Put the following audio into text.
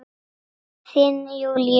Þinn Júlíus.